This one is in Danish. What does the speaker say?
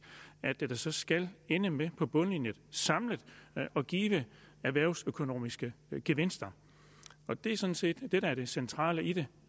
at det så skal ende med på bundlinjen samlet at give erhvervsøkonomiske gevinster det er sådan set det der er det centrale i det